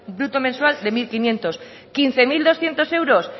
bruto mensual de mil quinientos quince mil doscientos euros